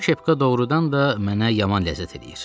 Bu kepka doğrudan da mənə yaman ləzzət eləyir.